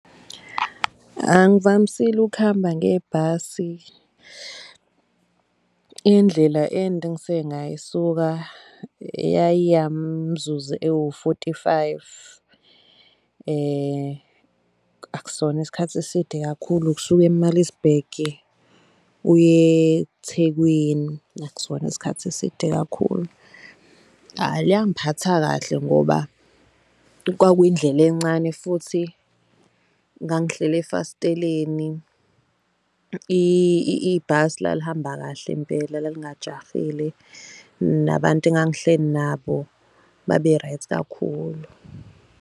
Angivamisile ukuhamba ngebhasi. Indlela ende engiseke ngayisuka eyayimzuzu ewu-forty-five. Akusona isikhathi eside kakhulu ukusuke e-Malisburg uye eThekwini, akusona isikhathi eside kakhulu. Hhayi, langiphatha kahle ngoba kwakuyindlela encane, futhi ngangihleli efasteleni ibhasi lalihamba kahle impela lalingajahile, nabantu engangihleli nabo, babe right kakhulu.